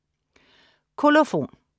Kolofon